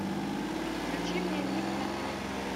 включи мне ник на телевизоре